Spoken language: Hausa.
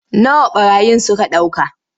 Nawa ɓarayin suka ɗauka.